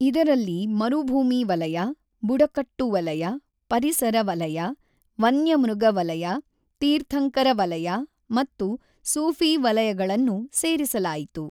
ಇದರಲ್ಲಿ ಮರುಭೂಮಿ ವಲಯ, ಬುಡಕಟ್ಟು ವಲಯ, ಪರಿಸರ ವಲಯ, ವನ್ಯಮೃಗ ವಲಯ, ತೀರ್ಥಂಕರ ವಲಯ ಮತ್ತು ಸೂಫಿ ವಲಯಗಳನ್ನು ಸೇರಿಸಲಾಯಿತು.